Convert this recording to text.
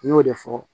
N y'o de fɔ